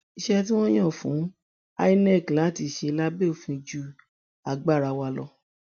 iṣẹ tí wọn yàn fún inec láti ṣe lábẹ òfin ju agbára wa lọ